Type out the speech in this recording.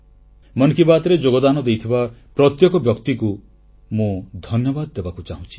ମନ କି ବାତ୍ରେ ଯୋଗଦାନ ଦେଇଥିବା ପ୍ରତ୍ୟେକ ବ୍ୟକ୍ତିଙ୍କୁ ମୁଁ ଧନ୍ୟବାଦ ଦେବାକୁ ଚାହୁଁଛି